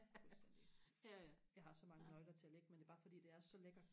fuldstændig jeg har så mange nøgler til og lægge men det er bare fordi det er så lækkert